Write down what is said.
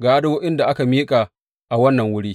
ga addu’o’in da aka miƙa a wannan wuri.